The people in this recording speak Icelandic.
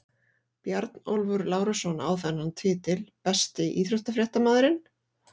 Bjarnólfur Lárusson á þennan titil Besti íþróttafréttamaðurinn?